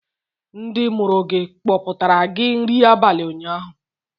Ndị mụrụ gị kpọpụtara gị nri abalị ụnyaahụ?